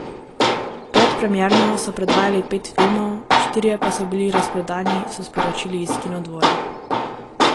Predpremierno so predvajali pet filmov, štirje pa so bili razprodani, so sporočili iz Kinodvora.